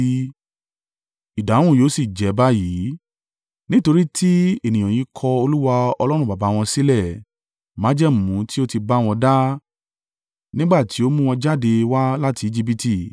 Ìdáhùn yóò sì jẹ́ báyìí: “Nítorí tí ènìyàn yìí kọ Olúwa Ọlọ́run baba wọn sílẹ̀, májẹ̀mú tí ó ti bá wọn dá nígbà tí ó mú wọn jáde wá láti Ejibiti.